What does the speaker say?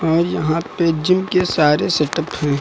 और यहां पे जिम के सारे सेटअप है।